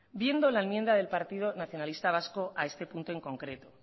viendo la enmienda del partido nacionalista vasco a este punto en concreto